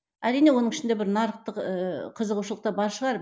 әрине оның ішінде бір нарықтық ыыы қызығушылықтар бар шығар